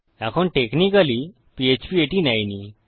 এখন technically PHP এটি নেয় নি